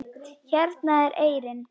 Hérna er eyrin.